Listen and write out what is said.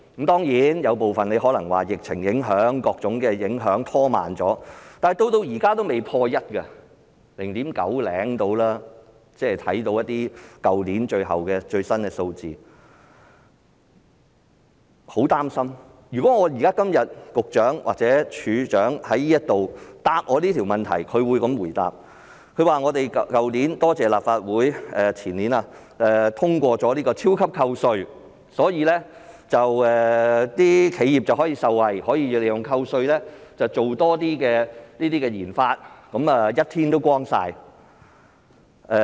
當然，有部分可能是因為疫情影響或各種影響拖慢了，但到現在都未破 1， 大約 0.9 多一點而已，即看到去年一些最新數字，令我很擔心，如果今天局長或署長在立法會回答我這個問題，他會這樣回答：感謝立法會，前年通過了"超級扣稅"，所以企業可以受惠，可以利用扣稅進行多些研發，問題便解決了。